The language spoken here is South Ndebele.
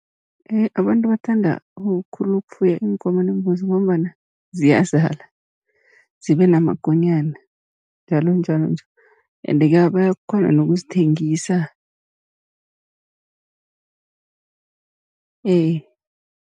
Abantu bakuthanda khulu ukufuya iinkomo neembuzi, ngombana ziyazala zibe namakonyana njalonjalo nje ende-ke bayakghona nokuzithengisa ee.